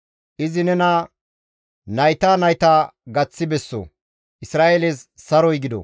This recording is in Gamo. Izi nena nayta nayta gaththi besso! Isra7eeles saroy gido!